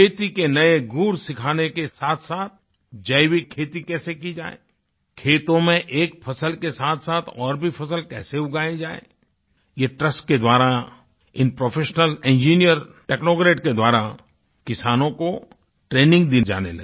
खेती के नए गुण सिखाने के साथसाथ जैविक खेती कैसे की जाए खेतों में एक फसल के साथसाथ और भी फसल कैसे उगाई जाए ये ट्रस्ट के द्वारा इन प्रोफेशनल इंजिनियर technocratकेद्वाराकिसानों को ट्रेनिंग दी जाने लगी